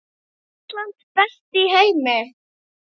Ísland, best í heimi.